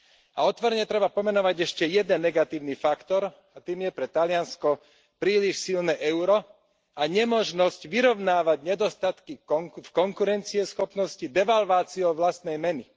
A otvorene treba pomenovať ešte jeden negatívny faktor, a tým je pre Taliansko príliš silné euro a nemožnosť vyrovnávať nedostatky v konkurencieschopnosti devalváciou vlastnej meny.